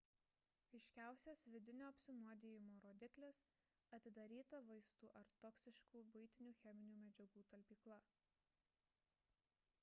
aiškiausias vidinio apsinuodijimo rodiklis – atidaryta vaistų ar toksiškų buitinių cheminių medžiagų talpykla